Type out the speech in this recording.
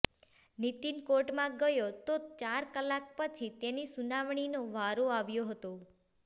નિતિન કોર્ટમાં ગયો તો ચાર કલાક પછી તેની સુનાવણીનો વારો આવ્યો હતો